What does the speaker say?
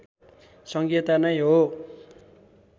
सङ्घीयता नै हो